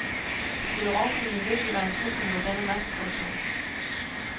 Skulle rovfuglene virkelig være en trussel mod denne masseproduktion?